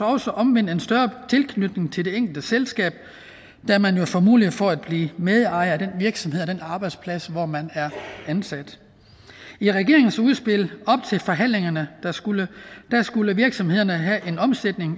også omvendt en større tilknytning til det enkelte selskab da man jo får mulighed for at blive medejer af den virksomhed og den arbejdsplads hvor man er ansat i regeringens udspil op til forhandlingerne skulle skulle virksomhederne have en omsætning